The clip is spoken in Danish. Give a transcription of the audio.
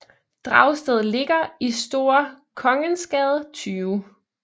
Dragsted ligger i Store Kongensgade 20